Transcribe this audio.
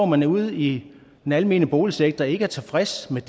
man ude i den almene boligsektor ikke er tilfreds med